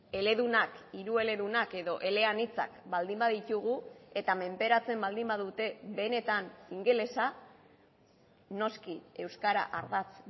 eledunak hiru eledunak edo eleanitzak baldin baditugu eta menperatzen baldin badute benetan ingelesa noski euskara ardatz